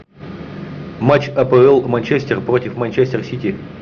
матч апл манчестер против манчестер сити